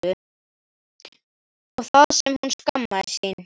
Og það sem hún skammaðist sín!